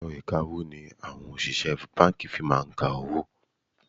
Èrọ ìkawó ni àwọn òṣìṣẹ́ báńkì fi máa ń ka owó.